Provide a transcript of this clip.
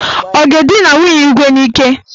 Ọ ga-edina nwunye Igwe n'ike?